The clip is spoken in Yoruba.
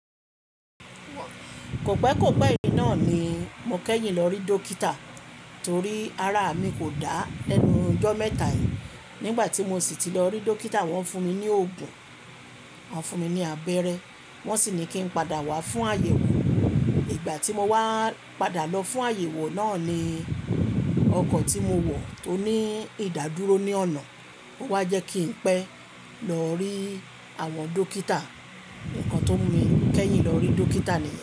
Kọ̀pẹ́kọ̀pẹ́ yìí náà ni mo kẹ́yìn lọ rí dókítà torí ara mi kò dá lẹ́nu ìjọ́ mẹ́ta yìí. Nígbà tí mo sì ti lọ rí dókítà wọ́n fún mi ní òògùn, wọ́n fún mi ní abẹ́rẹ́, wọ́n sì ní kí n padà wá fún àyẹ̀wò. Ìgbà tí mo wá padà lọ fún àyẹ̀wò náà ni ọkọ̀ tí mo wọ̀ tó ní ìdádúró ní ọ̀nà wá jẹ́ kí n pẹ́ lọ rí àwọn dókítà. Ǹkan tó mú mi kẹ́yìn lọ rí dókítà ni.